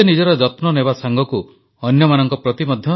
ସ୍ଥାନେ ସ୍ଥାନେ ମେଳାମହୋତ୍ସବ ଚାଲିଥାଏ ଧାର୍ମିକ ପୂଜା ଆରାଧନା ହେଉଥାଏ